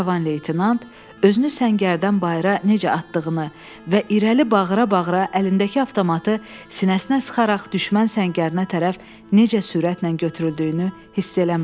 Cavan leytenant özünü səngərdən bayıra necə atdığını və irəli bağıra-bağıra əlindəki avtomatı sinəsinə sıxaraq düşmən səngərinə tərəf necə sürətlə götürüldüyünü hiss eləmədi.